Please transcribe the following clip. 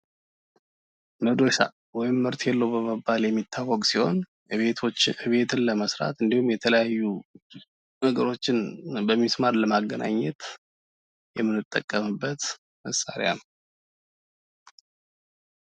መዶሻ ወይም መርኬሎ በመባየሚታወቅ ሲሆን ቤትን ለመስራት እንድሁም የተለያዩ ነገሮችን በሚስማር ለማገናኘት የምንጠቀምበት መሳሪያ ነው።